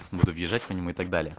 буду бежать по нему и так далее